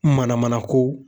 Manamanako